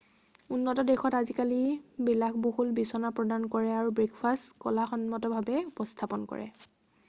উন্নত দেশত আজিকালি বিলাসবহুল বিচনা প্ৰদান কৰে আৰু ব্ৰেকফাষ্ট কলাসন্মতভাৱে উপস্থাপন কৰে